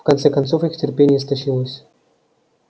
в конце концов их терпение истощилось